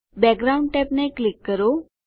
background ટેબને click કરો